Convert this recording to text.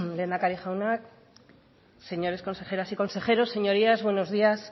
lehendakari jauna señores consejeras y consejeros señorías buenos días